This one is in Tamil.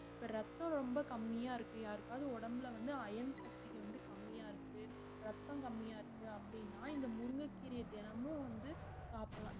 ரத்தம் ரொம்ப கம்மியா இருக்கு யாருக்காவது உடம்புல வந்து iron சக்திக வந்து கம்மியா இருக்கு ரத்தம் கம்மியா இருக்கு அப்படின்னா இந்த முருங்கைக்கீரையை தினமும் வந்து சாப்பிடலாம்